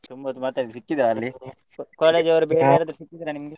ತುಂಬಾ ಹೊತ್ತು ಮಾತಾಡಿದ ಸಿಕ್ಕಿದ ಅಲ್ಲಿ .